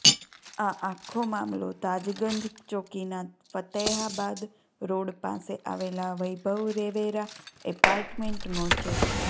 આ આખો મામલો તાજગંજ ચોકીના ફાતેહાબાદ રોડ પાસે આવેલા વૈભવ રેવેરા એપાર્ટમેન્ટનો છે